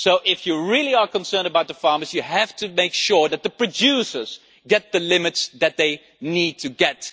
So if you are really concerned about the farmers, you have to make sure that the producers get the limits that they need to get.